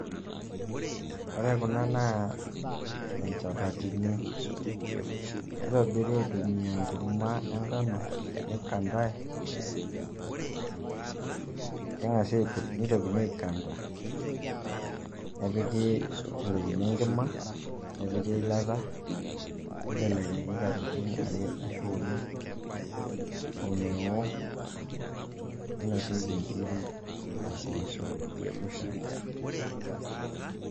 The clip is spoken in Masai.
Ore kuna naa inchapatini, kitobiri aitumia enkurma e nkano nikandae, keng'asi aipurj neitokini aikanda nepiki, neitelekini enkima nepiki eilata neibelekenyi katitin are arashu uni omeoo neinosieki inkirik, impoosho arashu shaai.